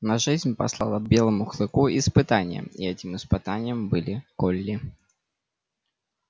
но жизнь послала белому клыку испытание и этим испытанием были колли